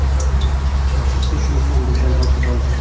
Afsuski, shuni ham bizdan tortib olishdi.